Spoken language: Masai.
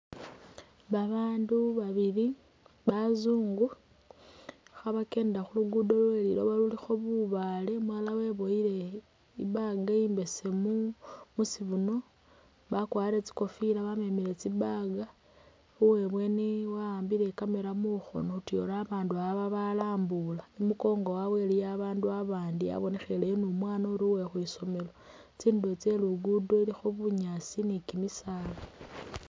Babandu babili bazungu khabakendela khu lugudo Lwe liloba lulikho bubale umulala webowile i’bag imbesemu mushibuno bakwarire tsikofila bamemele tsi’bag, uwebweni waambile i’camera mukhono tyori babandu balambula ,imukongo wawe iliyo babandu abandi yebonekheleyo ni umwana uri uwe khwisomelo ,tsinduro tse lugudo ilikho bunyasi ni kimisala.